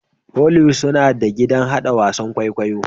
Hollywood suna da gidan hada wasan kwaikwayo